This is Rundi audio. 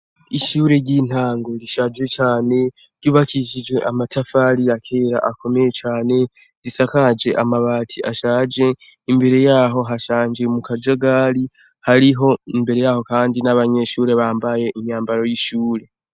Ishure ryintango rishaje cane ryubakishije amatafari yakera akomeye cane risakaje amabati ashaje imbere yaho hashanje mukajagari hariho imbere yaho kandi nabanyeshure bambaye umwambaro wishure